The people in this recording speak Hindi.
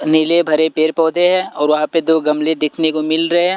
नीले भरे पेर पौधे हैं और वहां पर दो गमले देखने को मिल रहे हैं।